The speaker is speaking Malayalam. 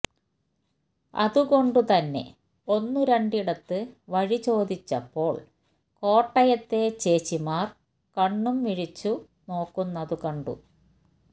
അതുകൊണ്ടു തന്നെ ഒന്നു രണ്ടിടത്ത് വഴി ചോദിച്ചപ്പോള് കോട്ടയത്തെ ചേച്ചിമാര് കണ്ണും മിഴിച്ചു നോക്കുന്നതു കണ്ടു